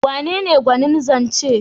Wanene gwanin zance?